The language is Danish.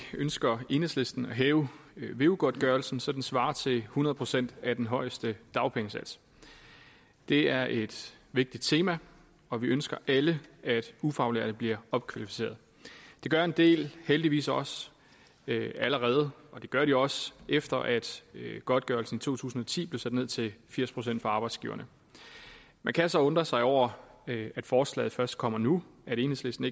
ønsker enhedslisten at hæve veu godtgørelsen så den svarer til hundrede procent af den højeste dagpengesats det er et vigtigt tema og vi ønsker alle at ufaglærte bliver opkvalificerede det gør en del heldigvis også allerede og det gør de også efter at godtgørelsen i to tusind og ti blev sat ned til firs procent for arbejdsgiverne man kan så undre sig over at forslaget først kommer nu at enhedslisten